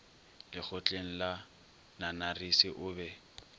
lekgotleng la nanarisi o be